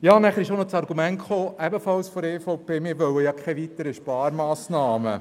Die EVP hat weiter argumentiert, man wolle keine weiteren Sparmassnahmen.